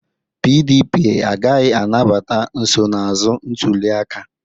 PDP agaghị anabata nsonaazụ ntuliaka